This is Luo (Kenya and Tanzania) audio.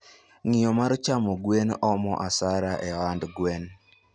ngiyo mar chamo gwen, omo hasra e ohand gwen.